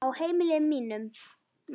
Á heimili mínu, maður.